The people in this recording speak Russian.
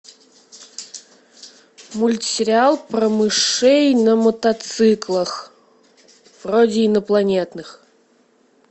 мультсериал про мышей на мотоциклах вроде инопланетных